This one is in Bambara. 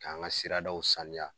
K'an ŋa siradaw saniya